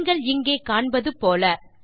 நீஙகள் இங்கே காண்பது போல